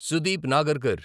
Sudeep Nagarkar